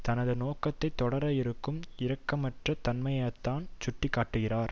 தனது நோக்கத்தை தொடர இருக்கும் இரக்கமற்ற தன்மையை தான் சுட்டி காட்டுகிறத